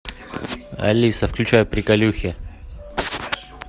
алиса включай приколюхи